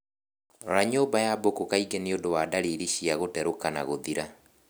Rora nyũmba ya mbũkũ kaingĩ nĩũndũ wa dalili cia gũterũka na gũthira